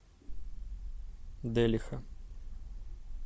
делиха